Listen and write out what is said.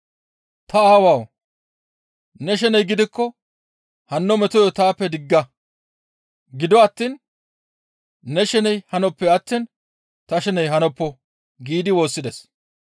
«Ta Aawawu! Ne shene gidikko hanno metoyo taappe digga; gido attiin ne sheney hanoppe attiin ta sheney hanoppo» giidi woossides.